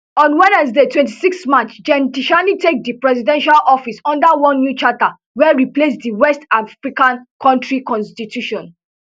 on wednesday twenty-six march gen tchiani take di presidential office under one new charter wey replace di west african kontri constitution